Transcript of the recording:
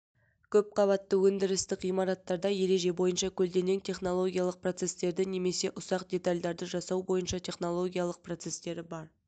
көп қабатты өндірістік ғимараттарда ереже бойынша көлденең технологиялық процесстері немесе ұсақ детальдарды жасау бойынша технологиялық процесстері бар